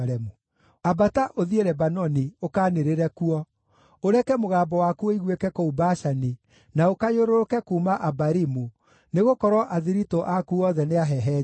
“Ambata, ũthiĩ Lebanoni, ũkanĩrĩre kuo, ũreke mũgambo waku ũiguĩke kũu Bashani, na ũkayũrũrũke kuuma Abarimu, nĩgũkorwo athiritũ aku othe nĩahehenje.